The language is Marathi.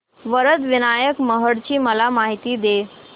वरद विनायक महड ची मला माहिती दे